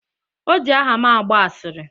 O ji aha m agba asịrị